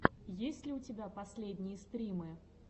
есть ли у тебя последние стримы